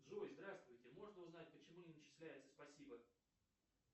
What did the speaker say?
джой здравствуйте можно узнать почему не начисляется спасибо